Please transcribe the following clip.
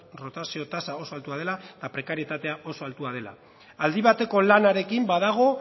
rotazio tasa oso altua dela eta prekarietatea oso altua dela aldi bateko lanarekin badago